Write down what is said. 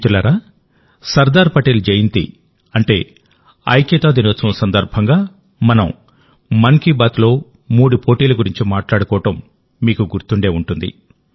మిత్రులారాసర్దార్ పటేల్ జయంతి అంటే ఐక్యతా దినోత్సవం సందర్భంగా మనంమన్ కీ బాత్లో మూడు పోటీల గురించి మాట్లాడుకోవడం మీకు గుర్తుండే ఉంటుంది